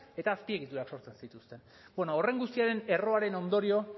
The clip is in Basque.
eta azpiegiturak sortzen zituzten bueno horren guztiaren erroaren ondorio